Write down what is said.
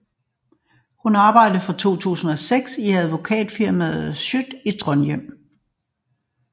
Hun arbejder fra 2006 i advokatfirmaet Schjødt i Trondheim